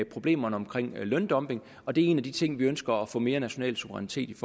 problemerne med løndumping og det er en af de ting vi ønsker at få mere national suverænitet